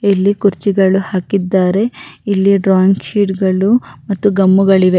ಇಲ್ಲಿ ಕುರ್ಚಿಗಳು ಹಾಕಿದ್ದಾರೆ ಇಲ್ಲಿ ಡ್ರಾಯಿಂಗ್ ಶೀಟ್ಗಳು ಮತ್ತು ಗಮ್ಮುಗಳಿವೆ.